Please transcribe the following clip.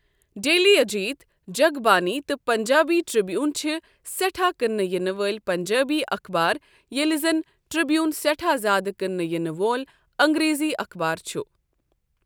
Daily Ajit, Jag Bani تہٕ Punjabi Tribune چھِ سیٚٹھاہ كٕننہٕ ینہٕ وٲلۍ پنجٲبۍ اخبار یلہِ زن ٹرِ٘بیوُن سیٹھاہ زیادٕ كننہٕ ینہٕ وول انگریزی اخبار چُھ ۔